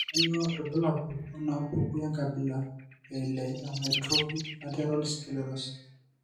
Kainyio irbulabul onaapuku enkabila eile eAmyotrophic lateral sclerosis?